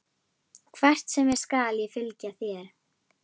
Hvert sem er skal ég fylgja þér.